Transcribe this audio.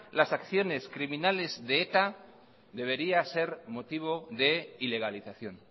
las acciones criminales de eta debería ser motivo de ilegalización